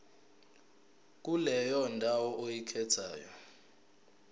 kuleyo ndawo oyikhethayo